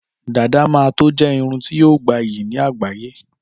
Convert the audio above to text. Dàdá mà tó je àrà irun tí yóò gbà iyì ní àgbáyé